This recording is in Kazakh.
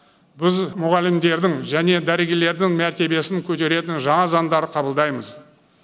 біз мұғалімдердің және дәрігерлердің мәртебесін көтеретін жаңа заңдар қабылдаймыз